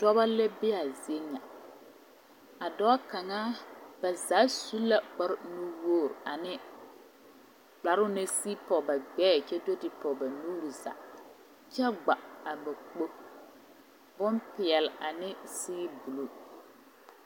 Pɔge la be a zie ŋa a dɔba kaŋa ba zaa su la kpare nuuri nuwogri ane kparoo naŋ sigi pɔge ba gbɛɛ kyɛ do te ba nuuri zaa kyɛ kpa a ba gbolo bompeɛ ane siibuluu.